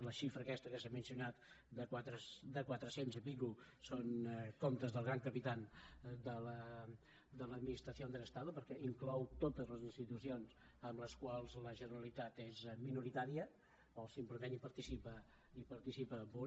la xifra aquesta que s’ha mencionat de quatre cents i escaig són comptes del gran capitán de l’administración del estado perquè inclou totes les institucions en les quals la generalitat és minoritària o simplement participa amb un